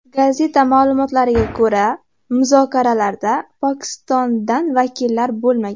Gazeta ma’lumotiga ko‘ra, muzokaralarda Pokistondan vakillar bo‘lmagan.